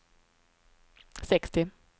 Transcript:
sextio